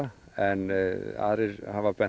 en aðrir hafa